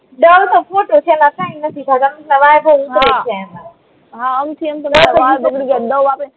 Dove તો ખોટું છે અલા કઈ નથી એમાં હા